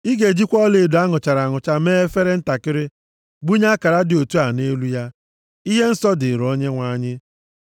“Ị ga-ejikwa ọlaedo a nụchara anụcha mee efere ntakịrị, gbunye akara dị otu a nʼelu ya: Ihe nsọ dịrị Onyenwe anyị.